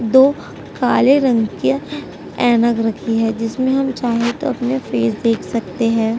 दो काले रंग के ऐनक रखी है जिसमे हम चाहे तो अपने फेस देख सकते है।